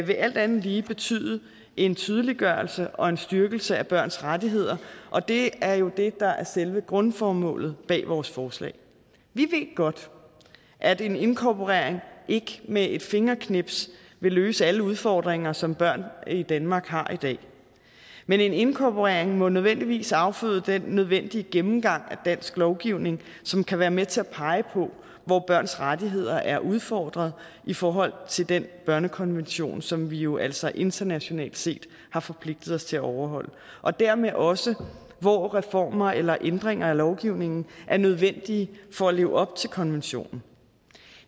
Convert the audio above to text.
vil alt andet lige betyde en tydeliggørelse og en styrkelse af børns rettigheder og det er jo det der er selve grundformålet med vores forslag vi ved godt at en inkorporering ikke med et fingerknips vil løse alle udfordringer som børn i danmark har i dag men en inkorporering må nødvendigvis afføde den nødvendige gennemgang af dansk lovgivning som kan være med til at pege på hvor børns rettigheder er udfordret i forhold til den børnekonvention som vi jo altså internationalt set har forpligtet os til at overholde og dermed også hvor reformer eller ændringer af lovgivningen er nødvendige for at leve op til konventionen